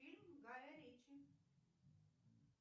фильм гая ричи